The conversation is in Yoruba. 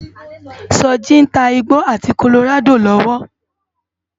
Soji n tá igbó áti kólórádó lòwò